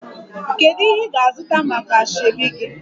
Kedu ihe ị ga-azụta maka asoebi gị?